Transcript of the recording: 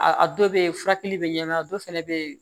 A dɔ bɛ yen furakɛli bɛ ɲɛmaya a dɔ fana bɛ yen